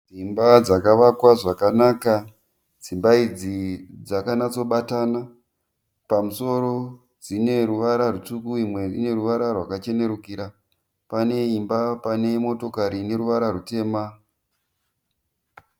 Dzimba dzakavakwa zvakanaka. Dzimba idzi dzakanatsobatana. Pamusoro dzine ruvara rutsvuku uye imwe ine ruvara rwakachenerukira. Pane imba pane motokari ine ruvara rutema.